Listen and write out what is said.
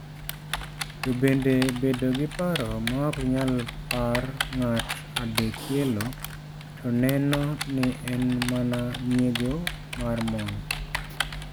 Tobende bedo gi paro ma ok nyal par ng'at adekielo to neno ni en mana nyiego mar mon.